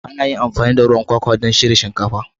Ana iya amfani da ruwan kwakwa don shirya shinkafa.